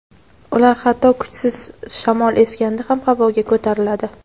ular hatto kuchsiz shamol esganda ham havoga ko‘tariladi.